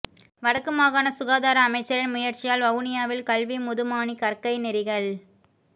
வடக்கு மாகாண சுகாதார அமைச்சரின் முயற்சியால் வவுனியாவில் கல்விமுதுமாணி கற்கை நெறிகள்